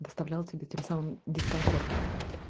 доставлял тебе тем самым дискомфорт